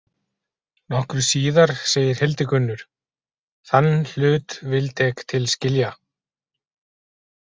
Nokkru síðar segir Hildigunnur: Þann hlut vilda ek til skilja.